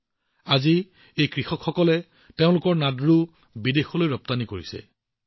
আজি এই কৃষকসকলে তেওঁলোকৰ নাদ্ৰু বিদেশলৈ ৰপ্তানি কৰা আৰম্ভ কৰিছে